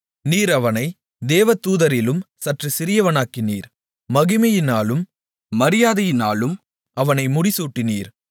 நீர் அவனைத் தேவதூதரிலும் சற்றுச் சிறியவனாக்கினீர் மகிமையினாலும் மரியாதையினாலும் அவனை முடிசூட்டினீர்